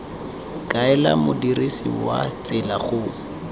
kaela modirisi wa tsela go